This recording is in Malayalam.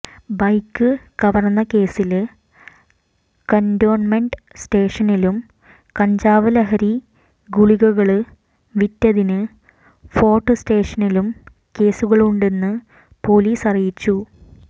ബൈക്ക് കവര്ന്നകേസില് കന്റോണ്മെന്റ് സ്റ്റേഷനിലും കഞ്ചാവ് ലഹരി ഗുളികകള് വിറ്റതിന് ഫോര്ട്ട് സ്റ്റേഷനിലും കേസുകളുണ്ടെന്ന് പോലീസ് അറിയിച്ചു